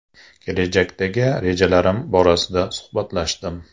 Kelajakdagi rejalarim borasida suhbatlashdim.